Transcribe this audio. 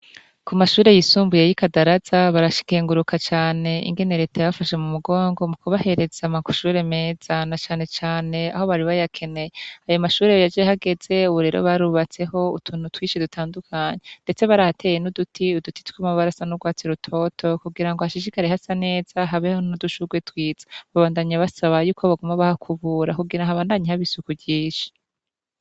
Ku mashure yisumbuye y'ikandaraza barakuguruka cane ingene reta yabafashe mu mugongo mukubahereza amshure meza na cane cane aho bari bayekeneye, ayo mashure meza yahageze ubu rero barubatseho utuntu twinshi dutadukanye ndetse barahateye n'uduti tw'amabara asa n'urwatsi rutoto kugira ngo hashishikare hasa neza habeho n'udushurwe twiza, babandanya basa yuko baguma bahakubura kugira habandanye haba isuku ryinshi.